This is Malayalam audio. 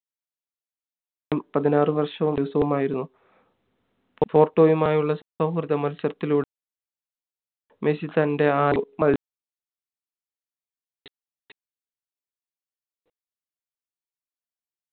പതിനാറു വർഷവും ദിവസവുമായിരുന്നു പോർട്ടോയുമായുള്ള സൗഹൃദ മത്സരത്തിലൂടെ മെസ്സി തൻ്റെ ആദ്യ